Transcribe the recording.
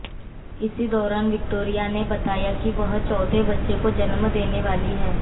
इसी दौरान विक्टोरिया ने बताया कि वह चौथे बच्चे को जन्म देने वाली हैं